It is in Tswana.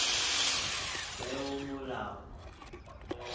peomolao